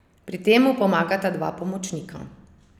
Pri tem mu pomagata dva pomočnika.